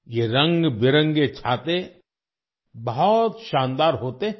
ये रंग बिरंगे छाते बहुत शानदार होते हैं